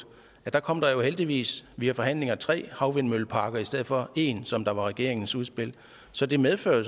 kom der heldigvis via forhandlinger tre havvindmølleparker i stedet for en som var regeringens udspil så det medfører